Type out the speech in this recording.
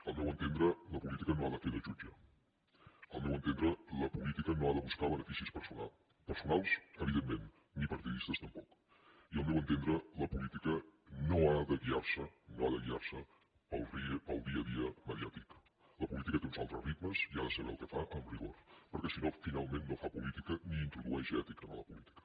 al meu entendre la política no ha de fer de jutge al meu entendre la política no ha de buscar beneficis personals evidentment ni partidistes tampoc i al meu entendre la política no ha de guiar se pel dia a dia mediàtic la política té uns altres ritmes i ha de saber el que fa amb rigor perquè si no finalment no fa política ni introdueix ètica en la política